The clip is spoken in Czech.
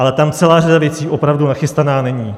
Ale tam celá řada věcí opravdu nachystaná není.